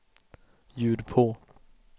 ljud på